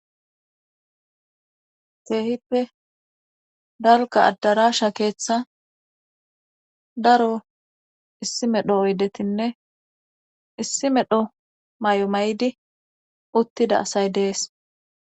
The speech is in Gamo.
Teehippe dalka addaraasha keeththa daro issi medho oydetinne issi medho may'o may'di uttida asay dees.